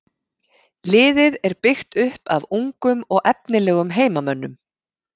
Liðið er byggt upp af ungum og efnilegum heimamönnum.